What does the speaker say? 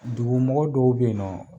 Dugumɔgɔ dɔw bɛ yen nɔ